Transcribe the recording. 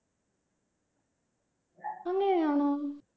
അങ്ങനെയാണോ